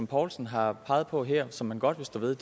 poulsen har peget på her som man godt vil stå ved